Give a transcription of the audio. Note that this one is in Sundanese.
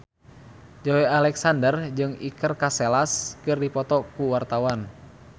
Joey Alexander jeung Iker Casillas keur dipoto ku wartawan